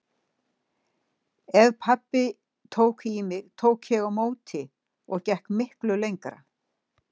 Ef pabbi tók í mig tók ég á móti og gekk miklu lengra.